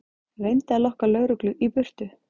Reyndi að lokka lögreglu í burtu